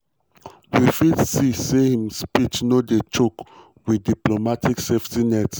we fit see say im speech no dey choke wit diplomatic safety nets.